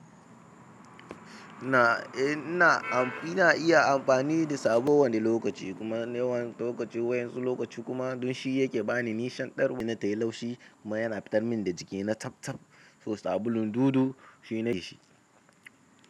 Na, eh na, ina iya amfani da sabu a wani lokaci kuma a wani lokaci wai yanzu lokaci kuma don shi yake bani nishan darwa ina tayi laushi kuma yana fitar min da jiki na tattab. So sabulun dudu shine shi.